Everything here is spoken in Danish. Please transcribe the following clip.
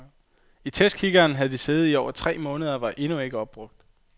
I testkikkerten havde de siddet i over tre måneder og var endnu ikke opbrugt.